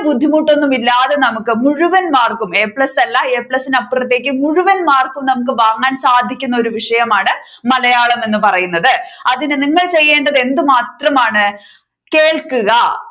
ബുദ്ധിമുട്ടൊന്നും ഇല്ലാതെ നമുക്ക് മുഴുവൻ മാർക്കും A plus അല്ല A plus ഇൻ അപ്പുറത്തേക്ക് മുഴുവൻ മാർക്ക് നമുക്ക് വാങ്ങാൻ സാധിക്കുന്ന ഒരു വിഷയമാണ് മലയാളം എന്ന് പറയുന്നത് അതിന് നിങ്ങൾ ചെയ്യേണ്ടത് എന്ത് മാത്രമാണ് കേൾക്കുക